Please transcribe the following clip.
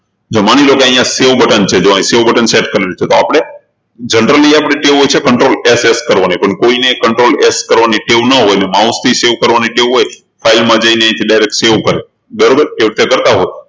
જો માની લો કે અહિયાં save button છે તો અહિયાં save buttonset છે તો આપણે generally આપણી ટેવ હોય છે controlS કરવાની પણ કોઈ ને controlS કરવાની ટેવ ન હોય અને mouse થી save કરવાની ટેવ હોય file માં જઈને direct save કરે બરોબર એ રીતે કરતા હોય